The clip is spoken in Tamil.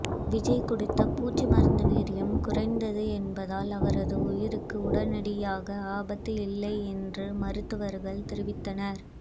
விஜய் குடித்த பூச்சி மருந்து வீரியம் குறைந்தது என்பதால் அவரது உயிருக்கு உடனடியாக ஆபத்து இல்லை என்று மருத்துவர்கள் தெரிவித்தனர்